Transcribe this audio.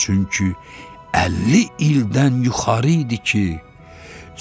Çünki 50 ildən yuxarı idi ki,